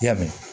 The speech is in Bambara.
I ya mɛn